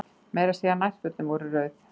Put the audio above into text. Meira að segja nærfötin voru rauð.